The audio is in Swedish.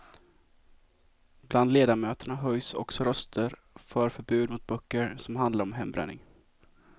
Bland ledamöterna höjs också röster för förbud mot böcker som handlar om hembränning.